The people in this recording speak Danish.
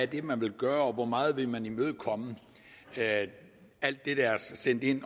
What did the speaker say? det er man vil gøre og hvor meget man vil imødekomme alt det der er sendt ind i